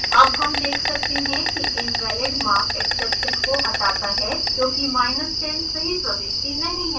अब हम देख सकते हैं कि invalidmarkexception को हटाता है क्योंकि10 सही प्रविष्टि नहीं है